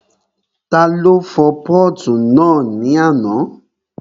Ta ló fọ pọ́ọ̀tù náà ní àná?